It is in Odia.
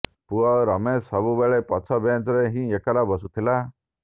ପୁଅ ରମେଶ ସବୁବେଳେ ପଛ ବେଞ୍ଚରେ ହିଁ ଏକଲା ବସୁଥିଲା